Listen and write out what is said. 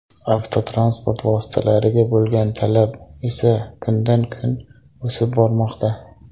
Avtotransport vositalariga bo‘lgan talab esa kundan-kun o‘sib bormoqda.